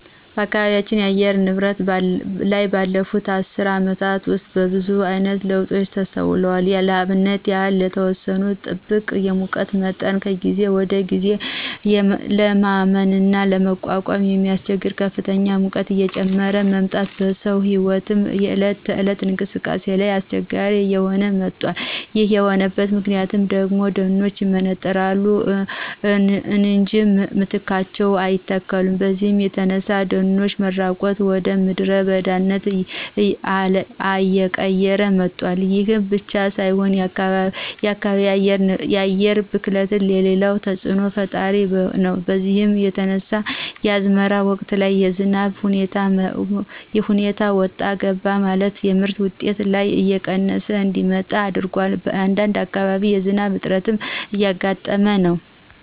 በአካባቢ የአየር ንብረት ላይ ባለፉት አስር አመታት ውስጥ ብዙአይነት ለውጦች ተስተውለዋል ለአብነት ያህል የተወሰኑትን ብጠቅስ የሙቀት መጠን ከጊዜ ወደጊዜ ለማመንና ለመቋቋም በሚያስቸግር ከፍተኛ ሙቀት እየጨመረ መምጣት በሰው ህይወትና የእለት ተእለት እንቅስቃሴ ላይ አስቸጋሪ እየሆነ መጧል ይሄ የሆነበት ምክንያት ደግሞ ደኖች ይመነጠራሉ እንጃ በምትካቸው አይተከሉም በዚህ የተነሳ የደኖች መራቆት ወደምድረ በዳነት አየቀየረው መጧል። ይሄ ብቻ ሳይሆን የከባቢ አየር ብክለትም ሌላው ተጽእኖ ፈጣሪ ነው በዚህ የተነሳ የአዝመራ ወቅት ላይ የዝናቡ ሁኔታ ወጣ ገባ የማለትና የምርት ውጤት ላይ እየቀነሰ እንዲመጣ አድርጓል በአንዳንድ አካባቢም የዝናብ እጥረት እያጋጠመ ነው።